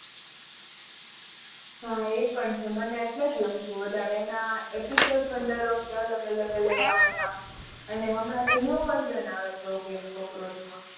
હા એપણ છે મન એટલેજ ગમતું વધારે અને એના episode દર વખતે અલગ અલગ આવતા અને હમણાં તો new version આવે છે ogy